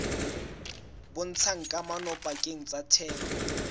bontshang kamano pakeng tsa theko